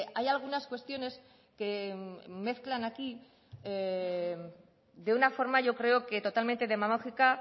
hay algunas cuestiones que mezclan aquí de una forma yo creo que totalmente demagógica